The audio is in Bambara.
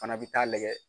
Fana bɛ taa lajɛ